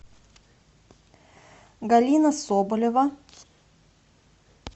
галина соболева